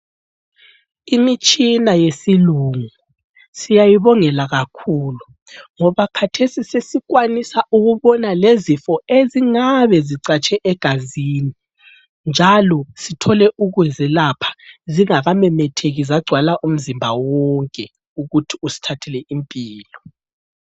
Imitshina yesilungu siyayibongela kakhulu ngoba khathesi sesikwanisa ukubona lezifo ezingabe zicatshe egazini njalo sithole ukuzelapha zingakamemetheki zagcwala umzimba wonke ukuthi usithathele impilo.